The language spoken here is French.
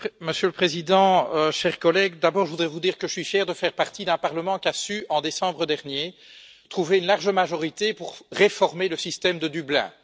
Monsieur le Président, chers collègues, d'abord je voudrais vous dire que je suis fier de faire partie d'un Parlement qui a su, en décembre dernier, trouver une large majorité pour réformer le système de Dublin.